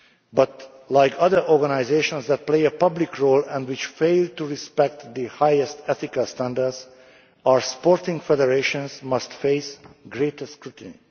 but, like other organisations that play a public role and which fail to respect the highest ethical standards, our sporting federations must face greater scrutiny.